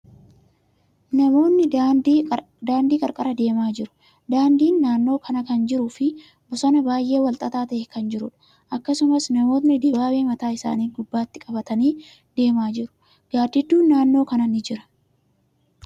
Namootni daandii qarqara deemaa jiru. Daandin naannoo kana kan jiruu fi bosonni baay'ee walxaxaa ta'e kan jiruudha. Akkasumas, namootni dibaabee mataa isaanii gubbatti qabatanii deemaa jiru. Gaaddidduun naannoo kana ni jira.